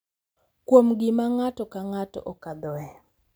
Kuom gima ng’ato ka ng’ato okadhoe.